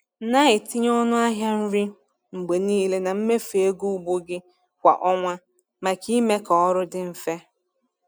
Na-etinye ọnụ ahịa nri mgbe niile na mmefu ego ugbo gị kwa ọnwa maka ime ka ọrụ dị mfe.